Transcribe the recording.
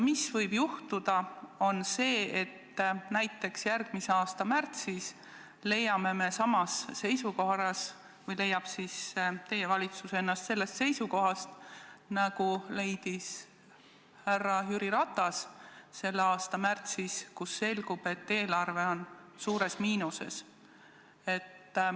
Mis võib juhtuda, on see, et näiteks järgmise aasta märtsis leiame me või leiab teie valitsus ennast olukorrast, nagu leidis härra Jüri Ratas selle aasta märtsis: selgub, et eelarve on suures miinuses.